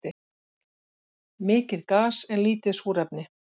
Mikið gas en lítið súrefni